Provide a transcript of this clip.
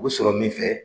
U bɛ sɔrɔ min fɛ